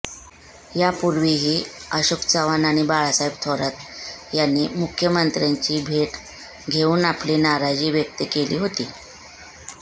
यापूर्वीही अशोक चव्हाण आणि बाळासाहेब थोरात यांनी मुख्यमंत्र्यांची भेट घेऊन आपली नाराजी व्यक्त केली होती